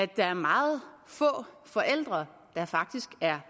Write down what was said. der er meget få forældre der faktisk er